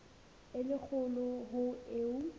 e le kgolo ho eo